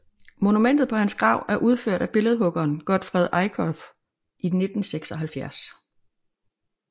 Monumentet på hans grav er udført af billedhuggeren Gottfred Eickhoff i 1976